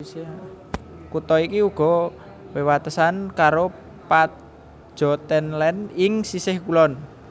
Kutha iki uga wewatesan karo Pajottenland ing sisih kulon